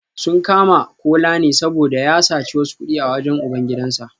Sun kama Kola ne saboda ya saci wasu kudi a wajen ubangidansa